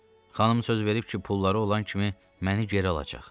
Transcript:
Xanım söz verib ki, pulları olan kimi məni geri alacaq.